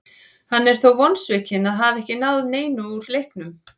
Hann er þó vonsvikinn að hafa ekki náð neinu úr leiknum.